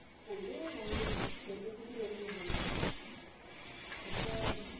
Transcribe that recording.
হলে আর মন্দ কি? যত ছুটি ততই ভালো। আর তা